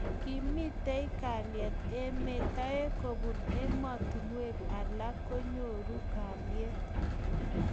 Komitei kalyet emet ,toek kobun emotinwek alak konyoru kalyet.